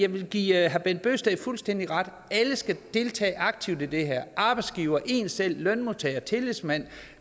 vil give herre bent bøgsted fuldstændig ret alle skal deltage aktivt i det her arbejdsgiveren en selv lønmodtageren tillidsmanden